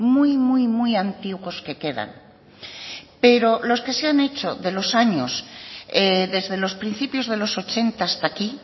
muy muy muy antiguos que quedan pero los que se han hecho de los años desde los principios de los ochenta hasta aquí